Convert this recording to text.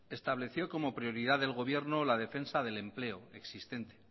estableció como prioridad del gobierno la defensa del empleo existente